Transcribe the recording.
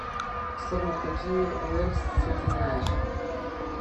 салют какие уэльсцы ты знаешь